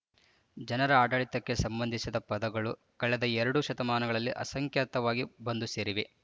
ಜನರ ಆಡಳಿತಕ್ಕೆ ಸಂಬಂಧಿಸಿದ ಪದಗಳು ಕಳೆದ ಎರಡು ಶತಮಾನಗಳಲ್ಲಿ ಅಸಂಖ್ಯಾತವಾಗಿ ಬಂದು ಸೇರಿವೆ